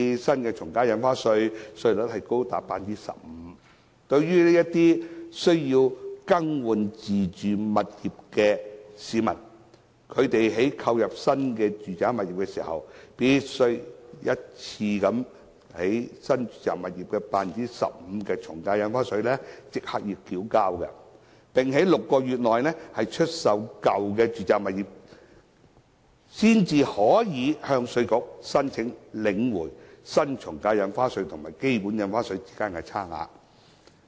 新的從價印花稅的稅率高達 15%， 一些需要更換自住物業的市民在購入新的住宅物業時，必須一次性繳交 15% 的從價印花稅，並在6個月內出售舊有住宅物業，才可以向稅局申請領回新從價印花稅及基本印花稅之間的差額。